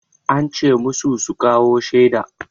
An ce masu su kawo shaida.